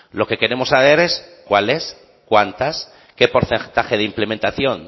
lo que queremos saber es cuáles cuántas qué porcentaje de implementación